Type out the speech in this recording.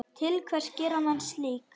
Til hvers gera menn slíkt?